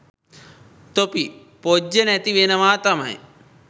තොපි පොජ්ජ නැතිවෙනවා තමයි.